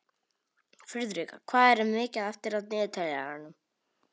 Friðrika, hvað er mikið eftir af niðurteljaranum?